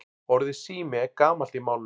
Orðið sími er gamalt í málinu.